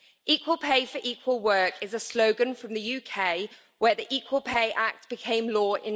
Equal pay for equal work' is a slogan from the UK, where the Equal Pay Act became law in